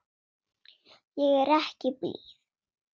Ég er ekki blíð.